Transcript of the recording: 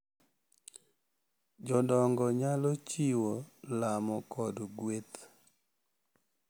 Jodongo nyalo chiwo lamo kod gueth, .